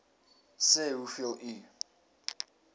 sê hoeveel u